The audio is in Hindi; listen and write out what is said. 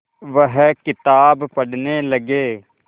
वह किताब पढ़ने लगे